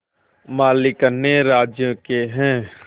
मालिक अन्य राज्यों के हैं